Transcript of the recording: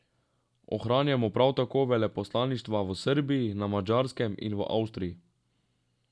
Ohranjamo prav tako veleposlaništva v Srbiji, na Madžarskem in v Avstriji.